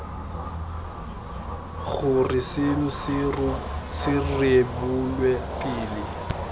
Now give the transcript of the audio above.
gore seno se rebolwe pele